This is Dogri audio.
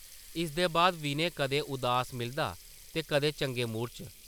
इसदे बाद विनय कदें उदास मिलदा दे कदें चंगे मूड च ।